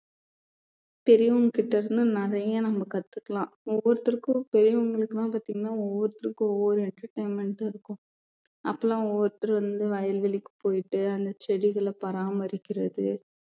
பெரியவங்ககிட்ட இருந்து நிறைய நம்ம கத்துக்கலாம் ஒவ்வொருத்தருக்கும் பெரியவங்களுக்கெல்லாம் பாத்தீங்கன்னா ஒவ்வொருத்தருக்கும் ஒவ்வொரு entertainment ம் இருக்கும் அப்பெல்லாம் ஒவ்வொருத்தர் வந்து வயல்வெளிக்கு போயிட்டு அந்த செடிகளை பராமரிக்கிறது